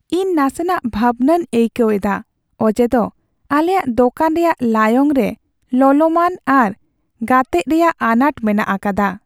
ᱤᱧ ᱱᱟᱥᱮᱱᱟᱜ ᱵᱷᱟᱵᱱᱟᱧ ᱟᱹᱭᱠᱟᱹᱣ ᱮᱫᱟ ᱚᱡᱮ ᱫᱚ ᱟᱞᱮᱭᱟᱜ ᱫᱚᱠᱟᱱ ᱨᱮᱭᱟᱜ ᱞᱟᱭᱚᱝ ᱨᱮ ᱞᱚᱞᱚᱢᱟᱱ ᱟᱨ ᱜᱟᱛᱮᱜ ᱨᱮᱭᱟᱜ ᱟᱱᱟᱴ ᱢᱮᱱᱟᱜ ᱟᱠᱟᱫᱟ ᱾